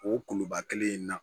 O kuluba kelen in na